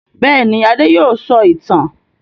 Bẹ́ẹ̀ ni, Adé yóò sọ ìtàn.